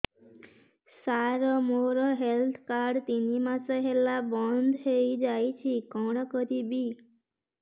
ସାର ମୋର health card ତିନି ମାସ ହେଲା ବନ୍ଦ ହେଇଯାଇଛି କଣ କରିବି